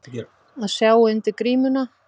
Að sjá undir grímuna